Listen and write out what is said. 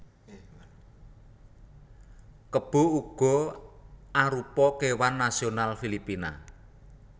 Kebo uga arupa kéwan nasional Filipina